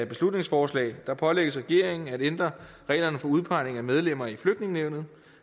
beslutningsforslag pålægges regeringen at ændre reglerne for udpegning af medlemmer i flygtningenævnet